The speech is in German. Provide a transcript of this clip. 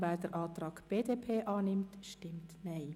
wer den Antrag BDP/Herren annimmt, stimmt Nein.